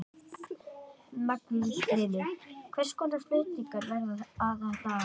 Magnús Hlynur: Hvers konar flutningar verða þetta aðallega?